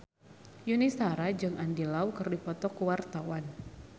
Yuni Shara jeung Andy Lau keur dipoto ku wartawan